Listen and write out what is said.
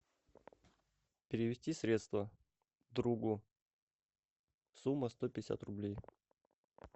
перевести средства другу сумма сто пятьдесят рублей